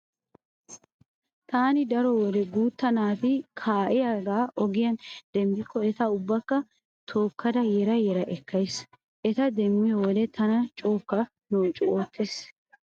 Taani daro wode guutta naati kaa'iya ogiyan demmikko eta ubbaakka tookkada yera yera ekkays. Eta demmiyo wode tana cookka noocu oottees.